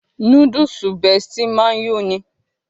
Núdúùsù Bestie máa ń yó'ni